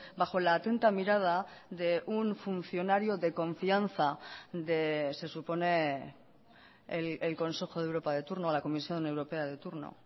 bajo la atenta mirada de un funcionario de confianza de se supone el consejo de europa de turno a la comisión europea de turno